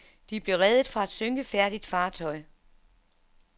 De blev reddet fra et synkefærdigt fartøj.